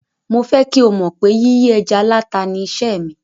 Mo fẹ́ kí o mọ̀ pé yíyí ẹja láta ni iṣẹ́ mi.